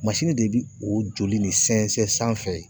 de bi o joli nin sɛnsɛn sanfɛ yen.